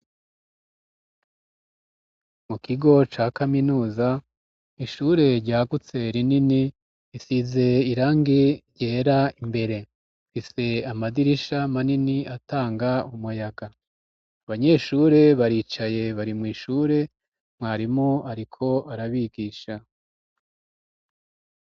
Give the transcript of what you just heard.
Mu kigo ca kaminuza, ishure ryagutse rinini, risize irangi ryera imbere, rifise amadirisha manini atanga umuyaga, abanyeshure baricaye bari mw'ishure mwarimu ariko arabigisha.